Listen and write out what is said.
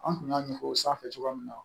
An kun y'a ɲɛfɔ o sanfɛ cogoya min na